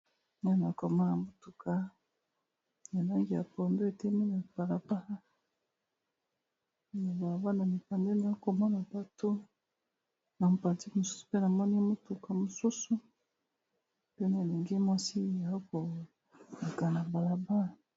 Awa naokomana motuka yalonge ya pondo ete miniaama balabana mipandenaa komona bato na mapatike mosusu mpe namoni motuka mosusu mpene elingi mwasi ya okoleka na balaba